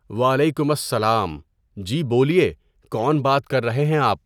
وعلیکم السّلام، جی بولیے کون بات کر رہے ہیں آپ؟